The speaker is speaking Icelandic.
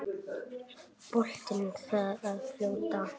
Boltinn þar að fljóta.